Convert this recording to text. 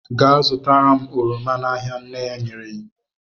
Gaa zụta oroma n'ahịa, nne ya nyere iwu.